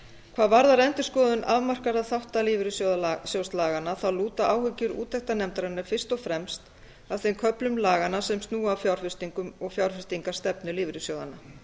hvað varðar endurskoðun afmarkaðra þátta lífeyrissjóðalaganna lúta áhyggjur úttektarnefndarinnar fyrst og fremst að þeim köflum laganna sem snúa að fjárfestingum og fjárfestingarstefnu lífeyrissjóðanna